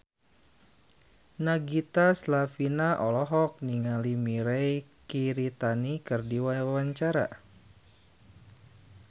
Nagita Slavina olohok ningali Mirei Kiritani keur diwawancara